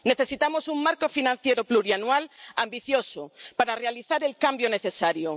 Necesitamos un marco financiero plurianual ambicioso para realizar el cambio necesario